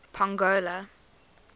pongola